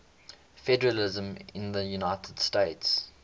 federalism in the united states